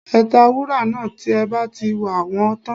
Ẹ ta wúrà náà tí ẹ bá ti wà wọ́n tán